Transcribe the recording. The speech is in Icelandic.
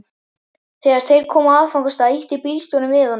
Þegar þeir komu á áfangastað ýtti bílstjórinn við honum.